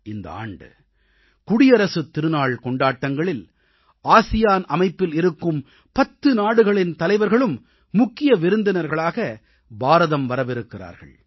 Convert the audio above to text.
இந்த ஆண்டு குடியரசுத் திருநாள் கொண்டாட்டங்களில் ஆசியான் அமைப்பில் இருக்கும் பத்து நாடுகளின் தலைவர்களும் முக்கிய விருந்தினர்களாக பாரதம் வரவிருக்கிறார்கள்